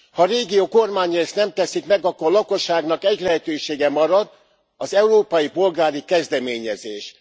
Ha a régiók kormányai ezt nem teszik meg, akkor a lakosságnak egy lehetősége marad, az európai polgári kezdeményezés.